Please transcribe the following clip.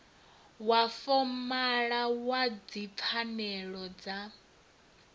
wa fomala wa dzipfanelo na